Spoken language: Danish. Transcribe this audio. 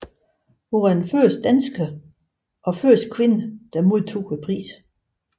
Hun var den første dansker og første kvinde der modtog prisen